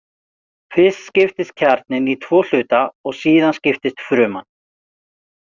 Fyrst skiptist kjarninn í tvo hluta og síðan skiptist fruman.